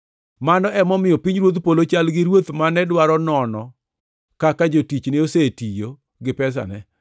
“Mano emomiyo pinyruodh polo chal gi ruoth mane dwaro nono kaka jotichne osetiyo gi pesane.